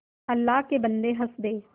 अल्लाह के बन्दे हंस दे